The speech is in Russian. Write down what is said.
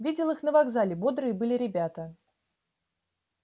видел их на вокзале бодрые были ребята